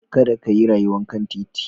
Kada ka yi rayuwar kan titi.